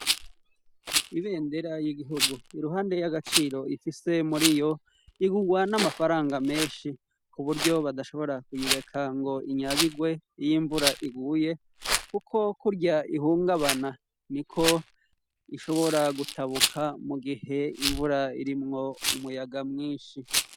Ibendera y'igihugu iruhande y'agaciro ifise muri yo igurwa n'amafaranga menshi ku buryo badashobora kuyireka ngo inyagirwe y'imvura iguye, kuko kurya ihungabana ni ko ishobora gutabuka mu gihe imvura irimwo umuyaga mwinshi.